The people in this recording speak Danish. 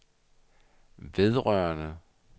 vedrørende